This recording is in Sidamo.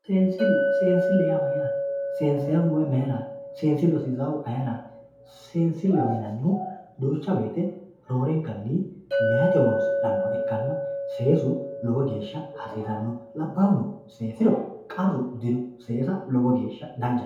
seensille seensille yaa mayaate sesaayiihu mayaate seensillu hasiisahu maayiiraati seensilleho yineemohu duucha wote roorenkanni meeyaati horonsixannoha ikkanna seesu lowo geesha hasiisanno labahuno seesiro qarru dino seesa lowo gesha danchate